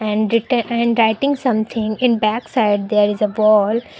and te and writing something in backside there is a ball.